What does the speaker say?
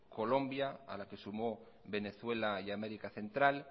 colombia a la que sumó venezuela y américa central